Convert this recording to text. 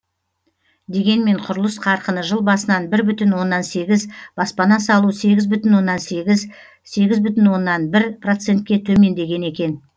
дегенмен құрылыс қарқыны жыл басынан бір бүтін оннан сегіз баспана салу сегіз бүтін оннан сегіз сегіз бүтін онна бір процентке төмендеген екен